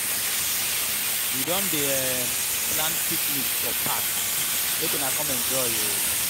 we don dey um plan picnic for park make una come enjoy o.